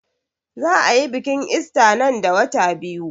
Za a yi biƙin ista nan da wata biyu